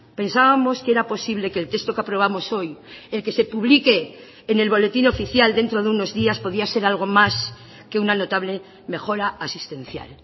pensábamos que era posible que el texto que aprobamos hoy el que se publique en el boletín oficial dentro de unos días podía ser algo más que una notable mejora asistencial